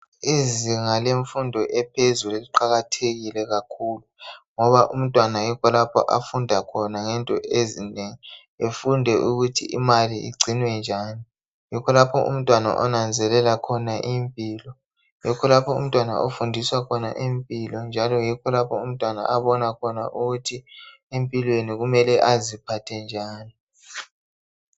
Izinga lemfundo ephezulu liqakathekile ngoba umntwana yikho lapha afunda khona ngento ezinengi efunde ukuthi imali igcinwa njani yikho lapho umntwana onanzelela khona. Yikho lapho afundiswa khona impilo, abona khona njalo ukuthi kumele aziphathe njani.